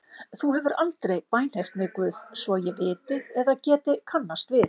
Þú hefur aldrei bænheyrt mig Guð svo ég viti eða geti kannast við.